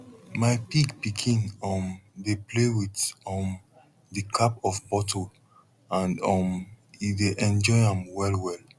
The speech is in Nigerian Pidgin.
my pig pikin um dey play with um di cap of bottle and um e dey enjoy am well well